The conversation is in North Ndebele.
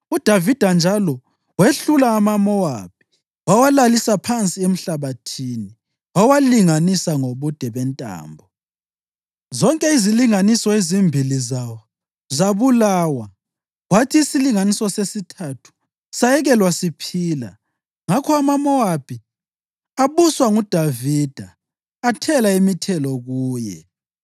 UDavida njalo wehlula amaMowabi. Wawalalisa phansi emhlabathini wawalinganisa ngobude bentambo. Zonke izilinganiso ezimbili zawo zabulawa, kwathi isilinganiso sesithathu sayekelwa siphila. Ngakho amaMowabi abuswa nguDavida athela imithelo kuye.